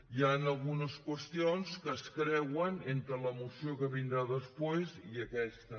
hi han algunes qüestions que es creuen entre la moció que vindrà després i aquesta